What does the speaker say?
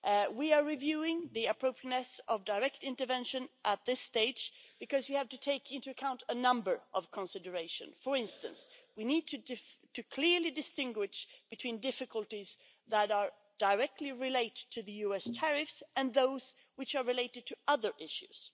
We are reviewing the appropriateness of direct intervention at this stage, because you have to take into account a number of considerations. For instance, we need to clearly distinguish between difficulties that are directly related to the US tariffs and those which are related to other issues.